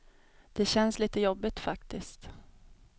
Det känns litet jobbigt, faktiskt.